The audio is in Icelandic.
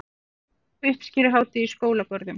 Uppskeruhátíð í skólagörðum